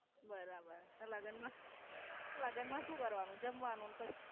બરાબર. લગન મા? લગન મા શુ કરવાનું જમવાનું ન પછ.